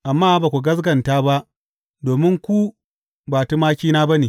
Amma ba ku gaskata ba domin ku ba tumakina ba ne.